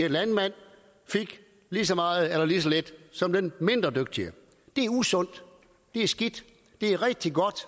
landmand fik lige så meget eller lige så lidt som den mindre dygtige det er usundt det er skidt det er rigtig godt